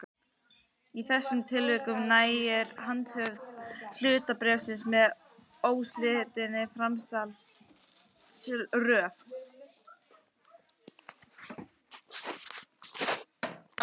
Í þessum tilvikum nægir handhöfn hlutabréfsins með óslitinni framsalsröð.